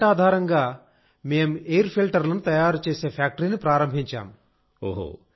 ఆ గ్రాంట్ ఆధారంగామేం ఎయిర్ ఫిల్టర్లను తయారు చేసే ఫ్యాక్టరీని ప్రారంభించాం